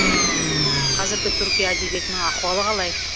қазіргі түркия әдебиетінің ахуалы қалай